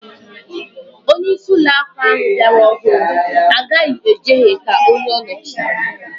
Onyeisi uloaku ahu biara ọhụrụ agaghi ejehe ka onye ọ nọchịrị